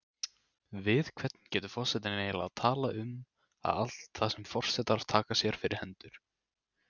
Núverandi öflunar- og dreifingarkerfi heits vatns á höfuðborgarsvæðinu er sýnt á mynd